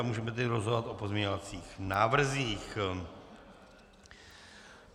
A můžeme tedy rozhodovat o pozměňovacích návrzích.